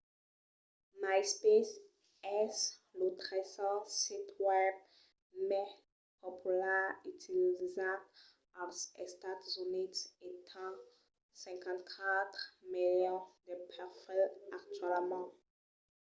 myspace es lo tresen sit web mai popular utilizat als estats units e ten 54 milions de perfils actualament